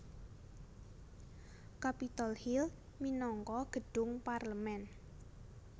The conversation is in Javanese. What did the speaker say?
Capitol Hill minangka gedhung parlemen